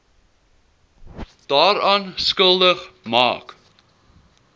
daaraan skuldig maak